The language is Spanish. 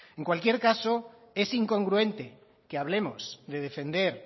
en cualquier caso es incongruente que hablemos de defender